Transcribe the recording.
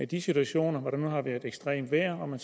de situationer hvor der har været ekstremt vejr og man